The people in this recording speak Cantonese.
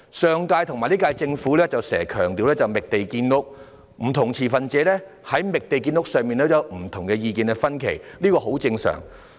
上屆和本屆政府時常強調"覓地建屋"，不同持份者在"覓地建屋"上也意見分歧，這是很正常的。